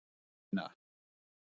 Sveinsína